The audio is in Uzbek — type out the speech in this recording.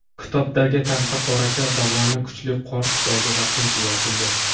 Kitobdagi Taxtaqoracha dovoni kuchli qor tufayli vaqtincha yopildi.